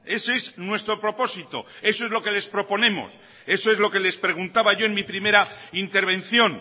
ese es nuestro propósito eso es lo que les proponemos eso es lo que les preguntaba yo en mi primera intervención